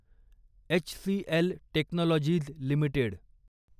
HCL Technologies limited